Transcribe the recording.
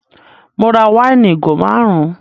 Mo ra wáìnì ìgò márùn